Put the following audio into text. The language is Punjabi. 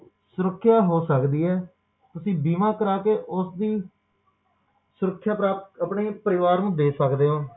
ਤਾ ਓਹੋ ਵਿੱਤੀ ਤੰਗੀ ਦੇ ਸੁਰੱਖਿਆ ਹੋ ਸਕਦੀ ਹੈ ਤੁਸੀਂ ਬੀਮਾ ਕਰਕੇ ਉਸਦੀ ਸੁਰੱਖਿਆ ਪ੍ਰਾਪਤ ਆਪਣੇ ਪਰਿਵਾਰ ਨੂੰ ਦੇ ਸਕਦੇ ਹੋ